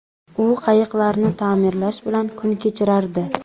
U qayiqlarni ta’mirlash bilan kun kechirardi.